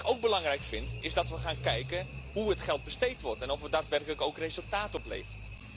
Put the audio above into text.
Wat ik ook belangrijk vind is dat we gaan kijken hoe het geld besteed wordt en of het daadwerkelijk resultaat oplevert.